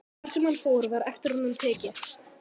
Hvar sem hann fór var eftir honum tekið.